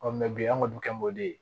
bi an kɔni bi kɛ o de ye